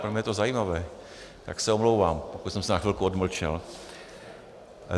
Pro mě je to zajímavé, tak se omlouvám, že jsem se na chvilku odmlčel.